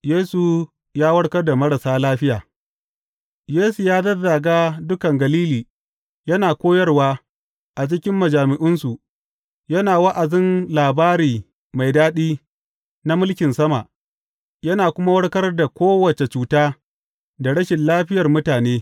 Yesu ya warkar da marasa lafiya Yesu ya zazzaga dukan Galili, yana koyarwa a cikin majami’unsu, yana wa’azin labari mai daɗi na mulkin sama, yana kuma warkar da kowace cuta da rashin lafiyar mutane.